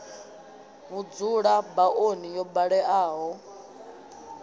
vhudzula ba oni yo baleaho